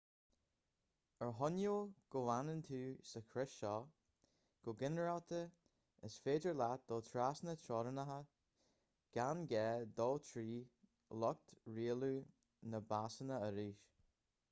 ar choinníoll go bhfanann tú sa chrios seo go ginearálta is féidir leat dul trasna teorainneacha gan gá dul trí lucht rialú na bpasanna arís